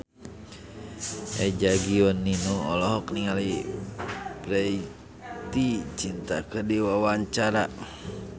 Eza Gionino olohok ningali Preity Zinta keur diwawancara